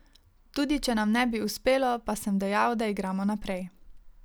Tudi če nam ne bi uspelo, pa sem dejal, da igramo naprej.